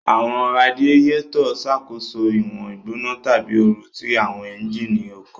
Awọn raadiyetọ ṣakoso iwọn igbona tabi ooru ti awọn ẹnjínì ọkọ